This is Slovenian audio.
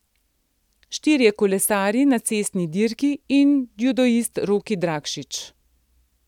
Štirje kolesarji na cestni dirki in judoist Roki Drakšič.